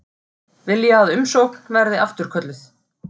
Vilja að umsókn verði afturkölluð